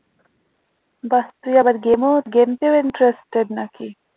বাহ তুই আবার game ও game তেও interested না কি?